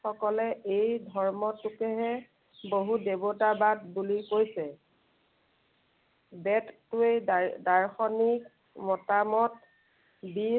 সকলে এই ধৰ্মটোকেহে বহুত দেৱতাবাদ বুলি কৈছে। বেদটোৱে দা~দাৰ্শনিক মতামত দি